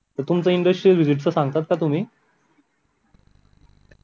तुमचं industrial visit च सांगताय का तुम्ही